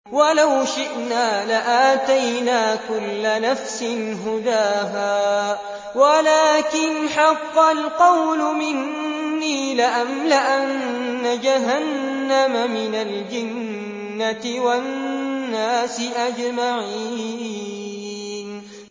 وَلَوْ شِئْنَا لَآتَيْنَا كُلَّ نَفْسٍ هُدَاهَا وَلَٰكِنْ حَقَّ الْقَوْلُ مِنِّي لَأَمْلَأَنَّ جَهَنَّمَ مِنَ الْجِنَّةِ وَالنَّاسِ أَجْمَعِينَ